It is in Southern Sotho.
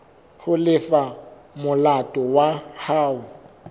ho lefa molato wa hao